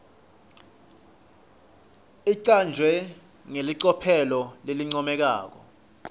icanjwe ngelicophelo lelincomekako